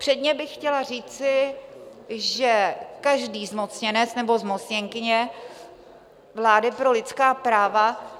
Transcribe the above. Předně bych chtěla říci, že každý zmocněnec nebo zmocněnkyně vlády pro lidská práva...